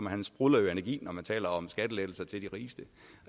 han sprudler jo af energi når han taler om skattelettelser til de rigeste